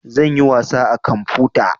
Zan yi wasa a kamfuta